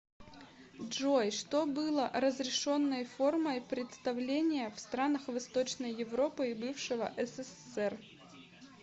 джой что было разрешенной формой представления в странах восточной европы и бывшего ссср